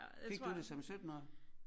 Fik du det som syttenårig?